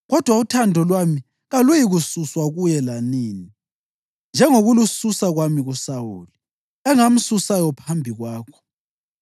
Kodwa uthando lwami kaluyikususwa kuye lanini, njengokulususa kwami kuSawuli, engamsusayo phambi kwakho.